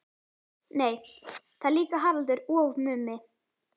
Nei það er líka Haraldur og Mummi.